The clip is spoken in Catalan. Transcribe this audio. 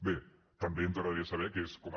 bé també ens agradaria saber què és com a